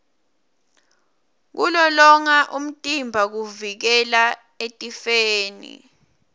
kulolonga umtimba kuvikela etifeni